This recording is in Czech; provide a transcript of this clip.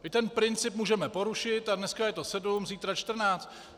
My ten princip můžeme porušit, a dneska je to sedm, zítra čtrnáct.